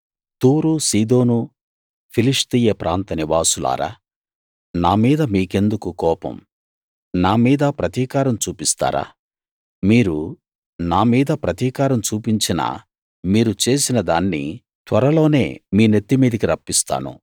తూరు సీదోను ఫిలిష్తీయ ప్రాంత నివాసులారా నా మీద మీకెందుకు కోపం నా మీద ప్రతీకారం చూపిస్తారా మీరు నా మీద ప్రతీకారం చూపించినా మీరు చేసినదాన్ని త్వరలోనే మీ నెత్తి మీదికి రప్పిస్తాను